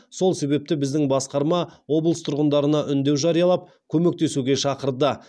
сол себепті біздің басқарма облыс тұрғындарына үндеу жариялап көмектесуге шақырды